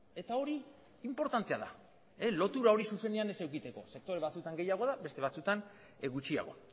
eta hori inportantea da lotura hori zuzenean ez edukitzeko sektore batzuetan gehiago da beste batzuetan gutxiago